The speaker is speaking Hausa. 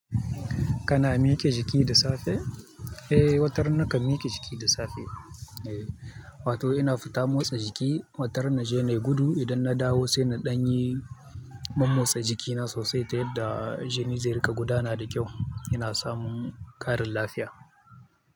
Kana miƙe jiki da safe? Eh, wata ran nakan miƙe jiki da safe. Eh, wato ina fita motsa jiki. Wata ran na je na yi gudu idan na dawo sai na ɗanyi mammotsa jikina sosai ta yadda jini zai riƙa gudana da kyau. Ina samun ƙarin lafiya.